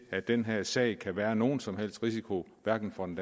at den her sag kan være nogen som helst risiko hverken for den